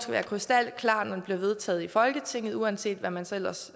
være krystalklar når den bliver vedtaget i folketinget uanset hvad man så ellers